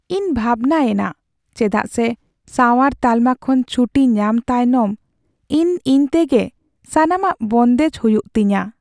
ᱤᱧ ᱵᱷᱟᱵᱽᱱᱟ ᱮᱱᱟ ᱪᱮᱫᱟᱜ ᱥᱮ ᱥᱟᱶᱟᱨ ᱛᱟᱞᱢᱟ ᱠᱷᱚᱱ ᱪᱷᱩᱴᱤ ᱧᱟᱢ ᱛᱟᱭᱱᱚᱢ ᱤᱧ ᱤᱧ ᱛᱮᱜᱮ ᱥᱟᱱᱟᱢᱟᱜ ᱵᱚᱱᱫᱮᱡ ᱦᱩᱭᱩᱜ ᱛᱤᱧᱟᱹ ᱾